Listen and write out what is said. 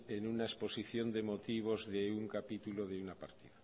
en una exposición de motivos de un capítulo de una página